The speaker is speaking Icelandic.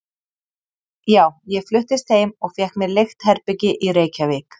Já, ég fluttist heim og fékk mér leigt herbergi í Reykjavík.